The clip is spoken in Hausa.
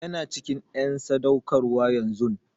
Yana cikin en sadaukarwa yanzun.